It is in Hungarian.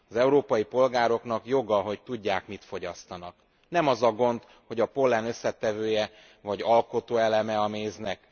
Az európai polgároknak joga, hogy tudják, mit fogyasztanak. Nem az a gond, hogy a pollen összetevője, vagy alkotóeleme a méznek.